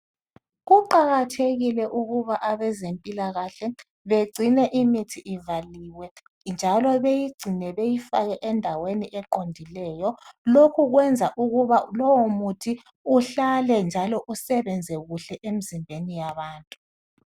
Kuqakathekile ukuba abezempilakahle begcine imithi ivaliwe .Njalo beyigcine beyifake endaweni eqondileyo. Lokhu kwenza ukuba lowo muthi uhlale njalo usebenza kuhle emizimbeni yabantu.